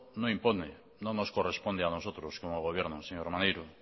no impone no nos corresponde a nosotros como gobierno señor maneiro